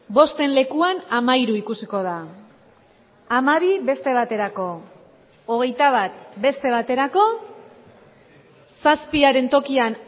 bosten lekuan hamahiru ikusiko da hamabi beste baterako hogeita bat beste baterako zazpiaren tokian